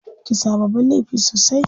Kisa babban laifi sosai.